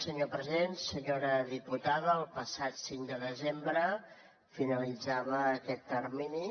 senyora diputada el passat cinc de desembre finalitzava aquest termini